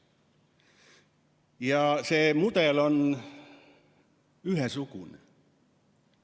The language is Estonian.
Ja see mudel on ühesugune.